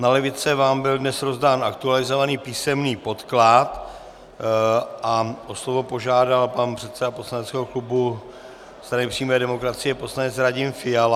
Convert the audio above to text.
Na lavice vám byl dnes rozdán aktualizovaný písemný podklad a o slovo požádal pan předseda poslaneckého klubu Strany přímé demokracie poslanec Radim Fiala.